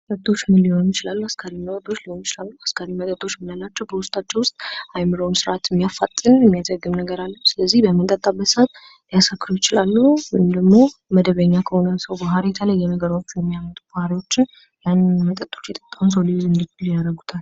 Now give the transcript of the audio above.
መጠጦች ምንም ሊሆን ይችላሉ አስካሪ መጠጦች ሊሆን ይችላሉ። አስካሪ መጠጦች ምንላቸው በውስጣቸው ውስጥ አይምሮን ስርዓትን ያፋጥን የሚያለው ስለዚህ በምንጠጣበት ሰአት ያሰክሮ ይችላሉ እንዲሁም ደግሞ መደበኛ ከሆነ ሰው ባህሪ የተለየ ነገሮች የሚያመጡት ባህሪዎችን ያንን መጠጥ የሰዎች ያደርገዋል።